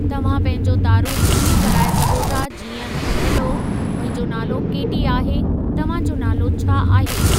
तव्हां पंहिंजो तारुफ़ु इएं कराइ सघो था जीअं 'हेलो, मुंहिंजो नालो केटी आहे, तव्हां जो नालो छा आहे?'